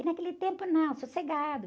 E naquele tempo, não, sossegado.